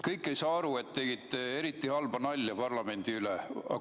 Kõik ei saa aru, et te tegite eriti halba nalja parlamendi üle.